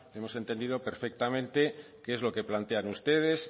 hemos entendido perfectamente qué es lo que plantean ustedes